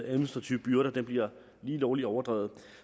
administrative byrder bliver lige lovlig overdrevet